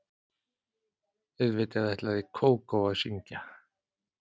Auðvitað ætlaði Kókó að syngja.